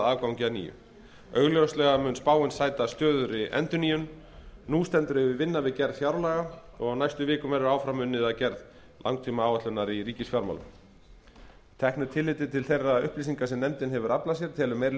afgangi að nýju augljóslega mun spáin sæta stöðugri endurnýjun nú stendur yfir vinna við gerð fjárlaga og á næstu vikum verður áfram unnið að gerð langtímaáætlunar í ríkisfjármálum að teknu tilliti til þeirra upplýsinga sem nefndin hefur aflað sér telur meiri